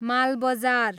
Malbazar